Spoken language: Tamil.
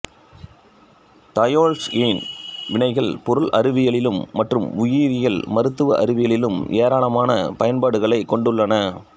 தயோல்ஈன் வினைகள் பொருள் அறிவியலிலும் மற்றும் உயிரியல் மருத்துவ அறிவியலிலும் ஏராளமான பயன்பாடுகளைக் கொண்டுள்ளன